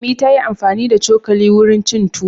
Ummi ta yi amfani da cokali wurin cin tuwo.